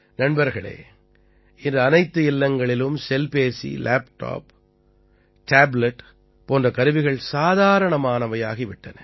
நண்பர்களே இன்று அனைத்து இல்லங்களிலும் செல்பேசி லேப்டாப் டேப்லட் போன்ற கருவிகள் சாதாரணமானவையாகி விட்டன